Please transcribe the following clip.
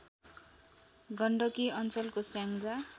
गण्डकी अञ्चलको स्याङ्जा